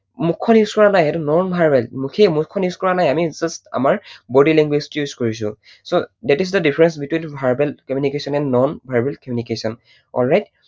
মুখখন use কৰা নাই, সেইটো non verbal মুঠেই মুখখন use কৰা নাই, আমি just আমাৰ body language use কৰিছো so, that is the difference between verbal communication and non verbal communicaton, alright?